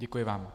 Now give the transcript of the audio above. Děkuji vám.